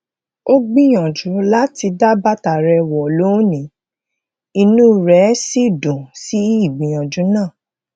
ó gbìyànjú láti dá bàtà rẹ wọ lónìí inú rẹ sì dùn sí ígbìyànjú náà